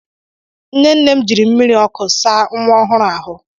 Nne nne m jiri mmiri ọkụ saa nwa ọhụrụ ahụ.